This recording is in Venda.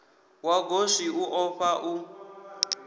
wa goswi u ofha u